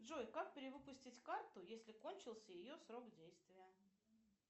джой как перевыпустить карту если кончился ее срок действия